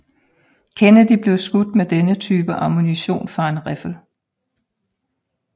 Kennedy blev skudt med denne type ammunition fra en riffel